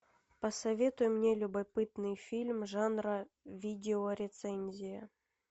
посоветуй мне любопытный фильм жанра видеорецензия